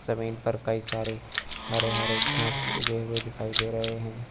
जमीन पर कई सारे हरे हरे घास उगे हुए दिखाई दे रहे हैं।